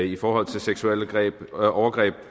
i forhold til seksuelle overgreb